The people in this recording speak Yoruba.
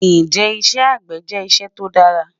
Njẹ́ ìṣẹ́ agbẹ̀ jẹ́ ìṣẹ̀ tó dàrà?